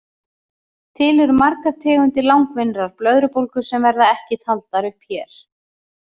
Til eru margar tegundir langvinnrar blöðrubólgu sem verða ekki taldar upp hér.